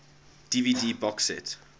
dvd box set